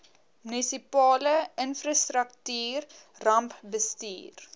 munisipale infrastruktuur rampbestuur